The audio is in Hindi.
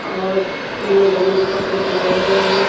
और तीनों डमू को कपड़े पहनाए गए हैं।